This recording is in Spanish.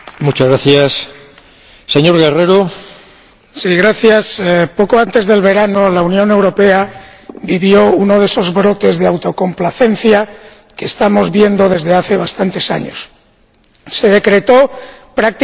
Señor Presidente, poco antes del verano la Unión Europea vivió uno de esos brotes de autocomplacencia que estamos viendo desde hace bastantes años se decretó prácticamente el fin de la crisis.